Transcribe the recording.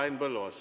Henn Põlluaas.